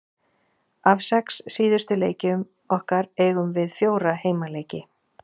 Af sex síðustu leikjum okkar eigum við fjóra heimaleiki.